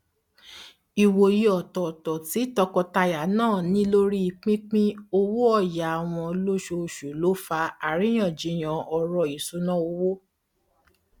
ìwòye ọtọọtọ tí tọkọtaya náà ní lórí pípín owóọyà wọn lóṣooṣù ló fa àríyànjíyàn ọrọ isúnà owó